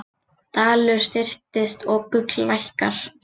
Dalur styrkist og gull lækkar